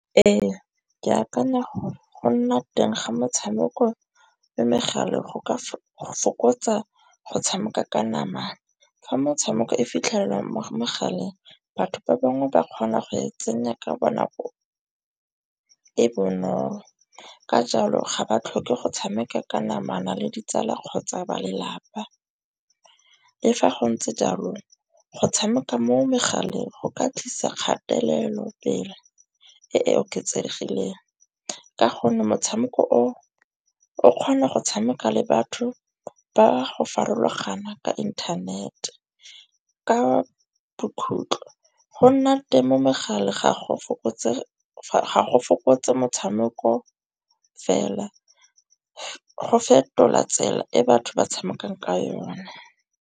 Ee, ke akanya gore go nna teng ga metshameko mo megaleng go ka fokotsa go tshameka ka nama. Fa motshameko e fitlhelwang mo mogaleng batho ba bangwe ba kgona go e tsenya ka bonako e bonolo. Ka jalo ga ba tlhoke go tshameka ka namana le ditsala kgotsa ba lelapa. Le fa go ntse jalo go tshameka mo megaleng go ka tlisa kgatelelo pele e e oketsegileng. Ka gonne motshameko o o kgona go tshameka le batho ba go farologana ka internet ka bokhutlo . Go nna temo megala ga go fokotse motshameko fela go fetola tsela e batho ba tshamekang ka yona.